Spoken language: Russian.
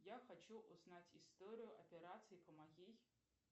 я хочу узнать историю операций по моей